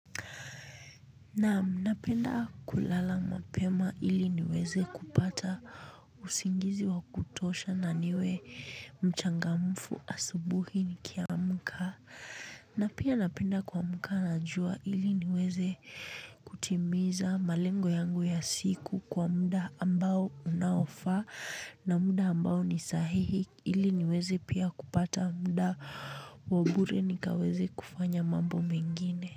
Naam napenda kulala mapema ili niweze kupata usingizi wa kutosha na niwe mchangamfu asubuhi nikiamka. Na pia napenda kuamka na jua ili niweze kutimiza malengo yangu ya siku kwa muda ambao unaofaa na muda ambao ni sahihi ili niweze pia kupata muda wa bure nikaweze kufanya mambo mengine.